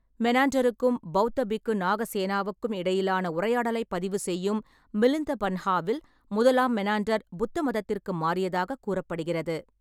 மெனாண்டருக்கும் பௌத்த பிக்கு நாகசேனவுக்கும் இடையிலான உரையாடலைப் பதிவு செய்யும் மிலிந்த பன்ஹாவில் முதலாம் மெனாண்டர் புத்தமதத்திற்கு மாறியதாகக் கூறப்படுகிறது.